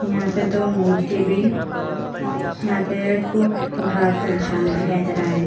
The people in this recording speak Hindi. यहां पे दो मूर्ति भी यहां पे दिखाई दे रहा है।